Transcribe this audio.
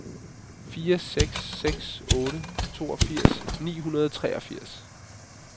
fire seks seks otte toogfirs ni hundrede og treogfirs